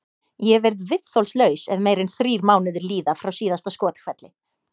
Ég verð viðþolslaus ef meira en þrír mánuðir líða frá síðasta skothvelli.